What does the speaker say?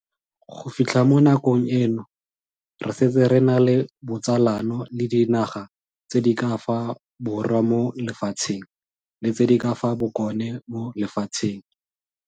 Go fitlha mo nakong eno, re setse re na le botsalano le dinaga tse di ka fa Borwa mo Lefatsheng le tse di ka fa Bokone mo Lefatsheng.